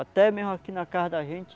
Até mesmo aqui na casa da gente,